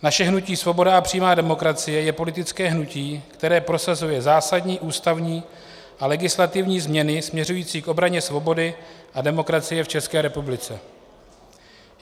Naše hnutí Svoboda a přímá demokracie je politické hnutí, které prosazuje zásadní ústavní a legislativní změny směřující k obraně svobody a demokracie v České republice.